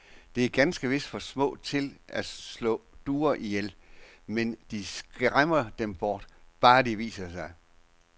De er ganske vist for små til at slå duer ihjel, men de skræmmer dem bort, bare de viser sig.